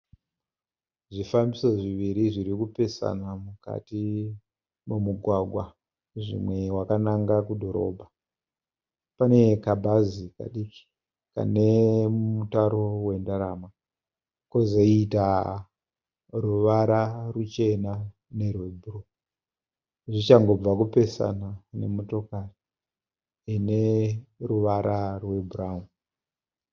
Zvifambiso zviviri zvirikupesana mukati momugwagwa, zvimwe wakananga kudhorobha. Pane kabhazi kadiki kanemutaro wendarama kozoita ruvara ruchena nerwebhuruu. Zvichangobva kupesana nemotikari ineruvara rwebhurauni.